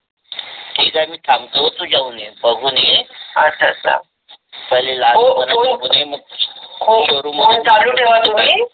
ठीक आहे. मी थांबतो तू जाऊन ये बघून ये.